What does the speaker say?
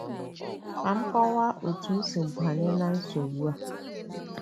Ka m kọwaa otú m si banye ná nsogbu a.